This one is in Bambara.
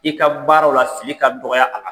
I ka baaraw la, fili ka dɔgɔya a la.